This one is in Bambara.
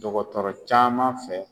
Dɔgɔtɔrɔ caman fɛ.